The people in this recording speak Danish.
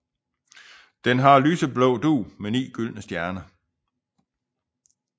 Det har lyseblå dug med ni gyldne stjerner